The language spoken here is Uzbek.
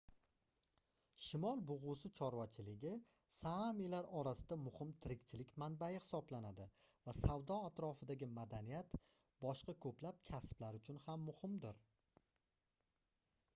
shimol bugʻusi chorvachiligi saamilar orasida muhim tirikchilik manbai hisoblanadi va savdo atrofidagi madaniyat boshqa koʻplab kasblar uchun ham muhimdir